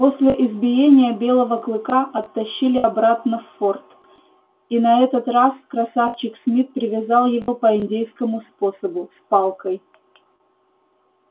после избиения белого клыка оттащили обратно в форт и на этот раз красавчик смит привязал его по индейскому способу с палкой